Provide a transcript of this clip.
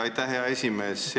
Aitäh, hea esimees!